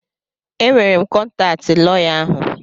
Enwere m kọntaatị tị lọya ahụ.